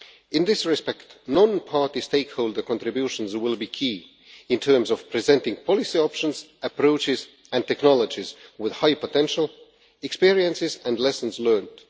In this respect non party stakeholder contributions will be key in terms of presenting policy options, approaches and technologies with high potential, experiences and lessons learned.